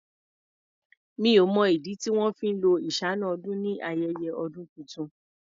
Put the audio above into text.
Mi ò mọ̀ ìdí tí wọn fí ń lo iṣáná-ọdún ni ayẹyẹ ọdún tuntun.